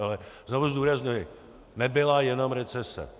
Ale znovu zdůrazňuji, nebyla jenom recese.